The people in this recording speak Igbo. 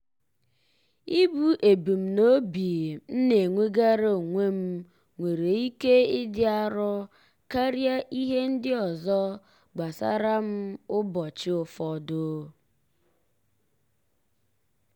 ibu ebumnobi m na-enwegara onwe m nwere ike ịdị arọ karịa ihe ndị ọzọ gbasara m ụbọchị ụfọdụ.